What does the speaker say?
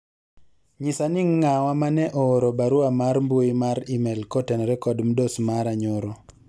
nyisa ni ng'awa mane ooro barua mar mbui mar email kotenore kod mdos mara nyoro